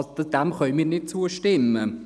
Dem können wir nicht zustimmen.